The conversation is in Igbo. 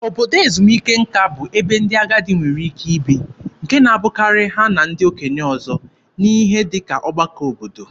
Obodo ezumike nka bụ ebe ndị agadi nwere ike ibi, nke na-abụkarị ha na ndị okenye ọzọ, n'ihe dị ka ọgbakọ obodo.